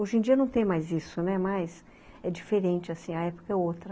Hoje em dia não tem mais isso, né, mas é diferente assim, a época é outra.